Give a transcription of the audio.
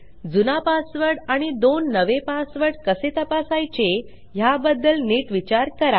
जुना पासवर्ड आणि दोन नवे पासवर्ड कसे तपासायचे ह्याबद्दल नीट विचार करा